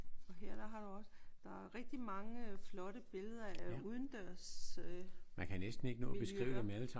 Og her der har du også der er rigtig mange flotte billeder af udendørsmiljøer